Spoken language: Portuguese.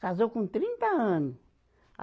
Casou com trinta ano a.